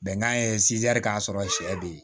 Bɛnkan ye k'a sɔrɔ sɛ be yen